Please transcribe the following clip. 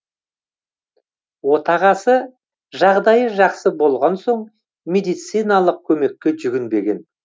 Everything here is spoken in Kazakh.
отағасы жағдайы жақсы болған соң медициналық көмекке жүгінбеген